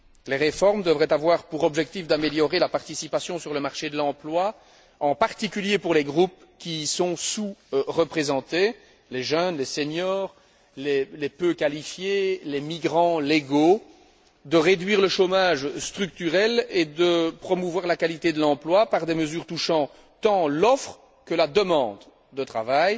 Les réformes devraient avoir pour objectif d'améliorer la participation sur le marché de l'emploi, en particulier pour les groupes qui y sont sous représentés les jeunes, les seniors, les peu qualifiés, les migrants légaux de réduire le chômage structurel et de promouvoir la qualité de l'emploi par des mesures touchant tant l'offre que la demande de travail.